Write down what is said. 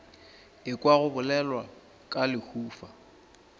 ekwa go bolelwa ka lehufa